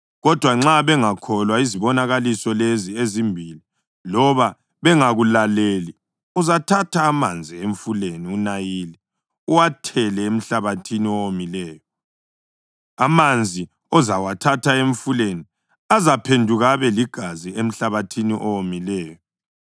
Kodwa nxa bengakholwa izibonakaliso lezi ezimbili loba bengakulaleli, uzathatha amanzi emfuleni uNayili uwathele emhlabathini owomileyo. Amanzi ozawathatha emfuleni azaphenduka abe ligazi emhlabathini owomileyo.”